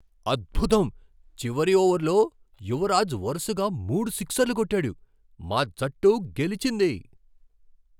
అద్భుతం! చివరి ఓవర్లో యువరాజ్ వరుసగా మూడు సిక్సర్లు కొట్టాడు, మా జట్టు గెలిచింది.